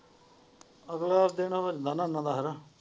ਅਗਲਾ ਦਿਨਾਂ ਨਾਨਾ ਹੇਨਾ।